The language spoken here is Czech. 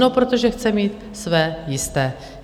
No, protože chce mít své jisté.